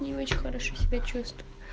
не очень хорошо себя чувствую